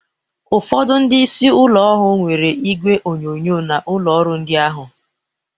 Ụfọdụ ndị isi ụlọ ọrụ nwere igwe onyonyo n'ụlọ ọrụ ndị ahụ